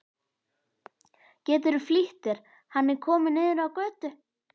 Geturðu flýtt þér. hann er kominn niður á götu!